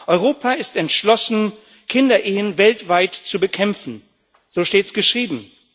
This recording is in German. Europa ist entschlossen, Kinderehen weltweit zu bekämpfen so steht es geschrieben.